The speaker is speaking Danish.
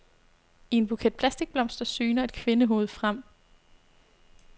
I en buket plastikblomster syner et kvindehoved frem.